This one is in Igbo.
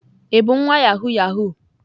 Ị bu nwa yahoo yahoo?